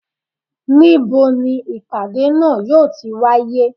Ni bo ni ipada naa yo tí wàyé?